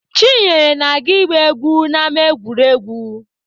Chinyere na-aga ịgba egwu n'ama egwuregwu.